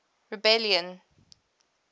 rebellion